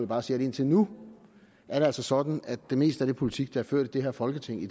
bare sige at indtil nu er det altså sådan at det meste af den politik der er ført i det her folketing i